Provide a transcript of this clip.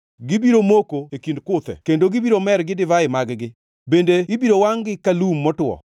Gibiro moko e kind kuthe kendo gibiro mer gi divai mag-gi, bende ibiro wangʼ-gi ka lum motwo.